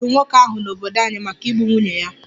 A chụpụrụ nwoke ahụ n'obodo anyị maka igbu nwunye ya